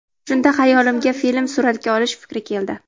Shunda xayolimga film suratga olish fikri keldi.